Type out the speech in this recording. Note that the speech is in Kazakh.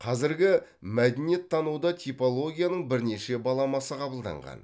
қазіргі мәдениеттануда типологияның бірнеше баламасы қабылданған